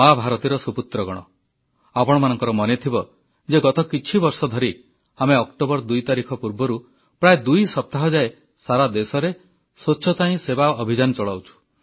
ମା ଭାରତୀର ସୁପୁତ୍ରଗଣ ଆପଣମାନଙ୍କର ମନେଥିବ ଯେ ଗତ କିଛି ବର୍ଷ ଧରି ଆମେ ଅକ୍ଟୋବର 2 ତାରିଖ ପୂର୍ବରୁ ପ୍ରାୟ ଦୁଇ ସପ୍ତାହ ଯାଏ ସାରା ଦେଶରେ ସ୍ୱଚ୍ଛତା ହିଁ ସେବା ଅଭିଯାନ ଚଳାଉଛୁ